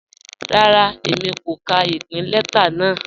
Rárá, Èmi kò kà ìpìn lẹta náà.